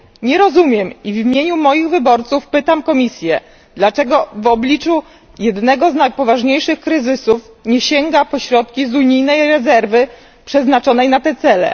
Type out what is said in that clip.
Nie rozumiem i w imieniu moich wyborców pytam Komisję, dlaczego w obliczu jednego z najpoważniejszych kryzysów nie sięga po środki z unijnej rezerwy przeznaczonej na te cele.